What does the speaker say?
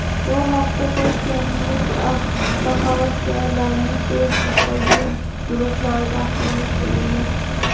Bu haqda toshkentlik avtohavaskorlarning Facebook’dagi guruhlarida axborot berilgan .